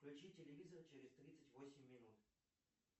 включи телевизор через тридцать восемь минут